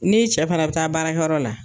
Ni cɛ fana bɛ taa baarakɛ yɔrɔ la.